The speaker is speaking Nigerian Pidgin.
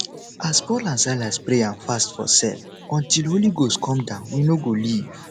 as paul and silas pray and fast for cell until holy ghost come down we no go leave